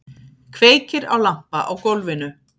Kveikir á lampa á gólfinu.